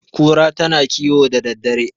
kura tana kiwo da daddare